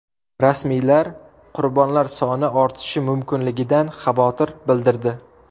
Rasmiylar qurbonlar soni ortishi mumkinligidan xavotir bildirdi.